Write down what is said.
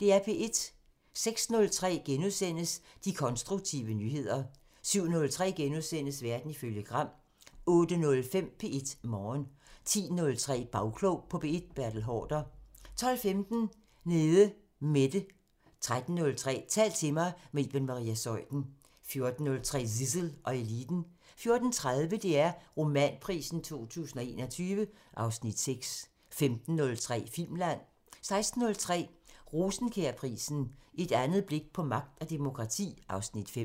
06:03: De konstruktive nyheder * 07:03: Verden ifølge Gram * 08:05: P1 Morgen 10:03: Bagklog på P1: Bertel Haarder 12:15: Nede Mette 13:03: Tal til mig – med Iben Maria Zeuthen 14:03: Zissel og Eliten 14:30: DR Romanprisen 2021 (Afs. 6) 15:03: Filmland 16:03: Rosenkjærprisen: Et andet blik på magt og demokrati (Afs. 5)